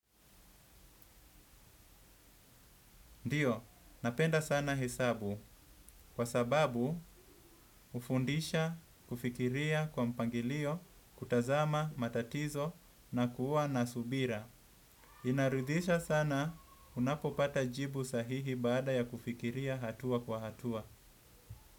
Ndiyo, napenda sana hesabu kwa sababu hufundisha kufikiria kwa mpangilio, kutazama matatizo na kuwa na subira. Inaridhisha sana unapopata jibu sahihi baada ya kufikiria hatua kwa hatua.